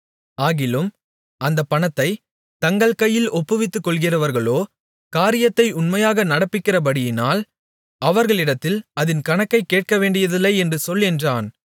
ஆகிலும் அந்தப் பணத்தைத் தங்கள் கையில் ஒப்புவித்துக்கொள்ளுகிறவர்களோ காரியத்தை உண்மையாக நடப்பிக்கிறபடியினால் அவர்களிடத்தில் அதின் கணக்கைக் கேட்கவேண்டியதில்லை என்று சொல் என்றான்